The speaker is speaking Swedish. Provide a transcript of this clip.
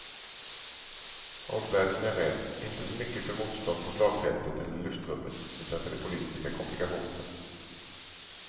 Omvärlden är rädd, inte så mycket för motstånd på slagfältet eller i luftrummet utan för de politiska komplikationerna.